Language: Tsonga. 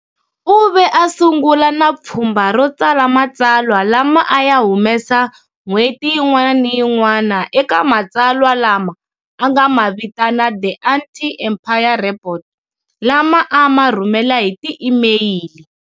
U ve a sungula na pfhumba ro tsala matsalwa lama a ya humesa n'hweti yin'wana na yin'wana eka matsalwa lama a nga ma vitana "The Anti-Empire Report" lama a ma rhumela hi tiemeyili.